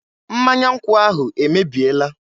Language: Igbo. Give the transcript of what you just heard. Mmanya nkwụ ahụ emebiela.